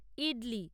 idli